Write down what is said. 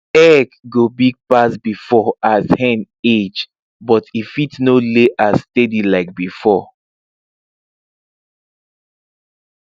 egg go big pass before as hen age but e fit no lay as steady like before